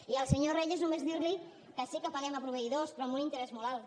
i al senyor reyes només dir li que sí que paguem a proveïdors però amb un interès molt alt